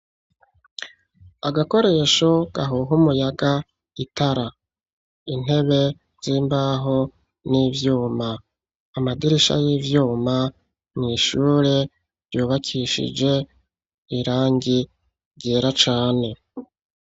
Agakoresho gahuha umuyaga, itara, intebe z'imbaho n'ivyuma, amadirisha y'ivyuma n'ishure vyubakishije irangi vyera cane.